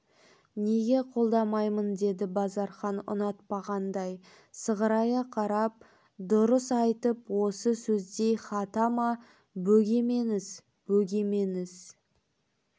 неге қолдамаймын деді базархан ұнатпағандай сығарая қарап дұйыс айтып осы сөздей хата ма бөгемеңіз бөгемеңіз